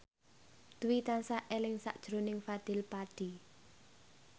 Dwi tansah eling sakjroning Fadly Padi